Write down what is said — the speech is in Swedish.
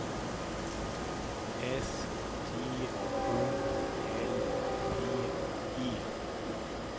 S T O L P E